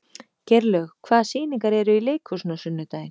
Geirlaug, hvaða sýningar eru í leikhúsinu á sunnudaginn?